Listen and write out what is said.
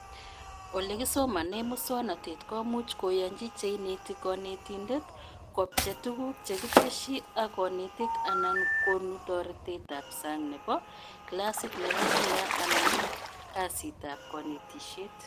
Olekisomane muswonotet komuch koyanch cheineti konetindet kobche tuguk chekitesyi ak konetik anan konu toretetab sang nebo klasit nebo kila anan kasrtaab konetishet